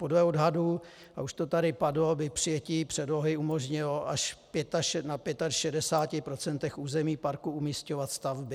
Podle odhadů, a už to tady padlo, by přijetí předlohy umožnilo až na 65 % území parku umisťovat stavby.